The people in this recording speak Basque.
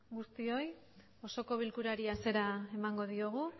guztioi osoko bilkurari hasiera emango diogu